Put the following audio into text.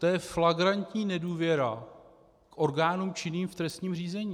To je flagrantní nedůvěra k orgánům činným v trestním řízení.